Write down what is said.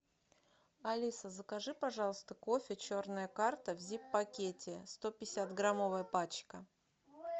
алиса закажи пожалуйста кофе черная карта в зип пакете сто пятьдесят граммовая пачка